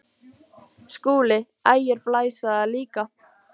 SKÚLI: Ægir blæs á það líka.